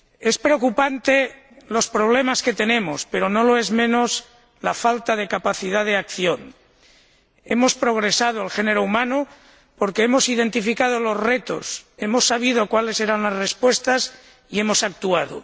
Son preocupantes los problemas que tenemos, pero no lo es menos la falta de capacidad de acción. El género humano ha progresado porque hemos identificado los retos, hemos sabido cuáles eran las respuestas y hemos actuado.